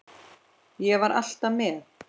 Ég var alltaf með.